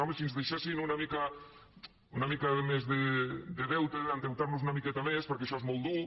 home si ens deixessin una mica més de deute endeutar nos una miqueta més perquè això és molt dur